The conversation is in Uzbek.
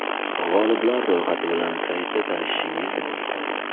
G‘oliblar ro‘yxati bilan saytida tanishishingiz mumkin.